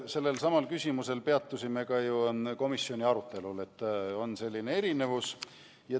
Sellelsamal küsimusel, et on selline erinevus, peatusime ju ka komisjoni arutelul.